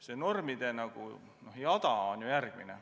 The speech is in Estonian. See normide jada on järgmine.